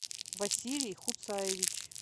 василий хуцаевич